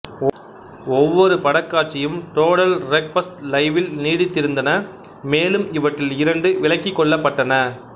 ஒவ்வொரு படக்காட்சியும் total request லைவில் நீடித்திருந்தன மேலும் இவற்றில் இரண்டு விலக்கிக்கொள்ளப்பட்டன